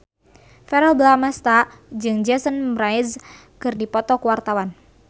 Verrell Bramastra jeung Jason Mraz keur dipoto ku wartawan